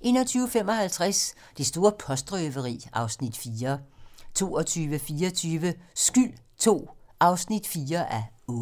21:55: Det store postrøveri (Afs. 4) 22:24: Skyld II (4:8)